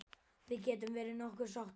Við getum verið nokkuð sáttar.